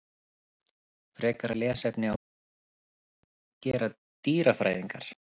Frekara lesefni á Vísindavefnum: Hvað gera dýrafræðingar?